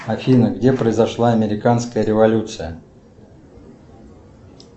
афина где произошла американская революция